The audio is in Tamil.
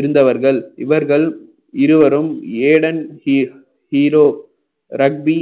இருந்தவர்கள் இவர்கள் இருவரும் ஏடன் ஹீ~ ஹீரோ ரக்வி